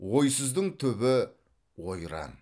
ойсыздың түбі ойран